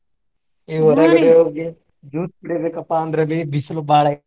ಈಗ ಹೊರಗಡೆ ಹೋಗಿ juice ಕುಡಿಬೇಕಪ್ಪಾ ಅಂದ್ರಬಿ ಬಿಸಿಲು ಬಾಳ ಐತಿ.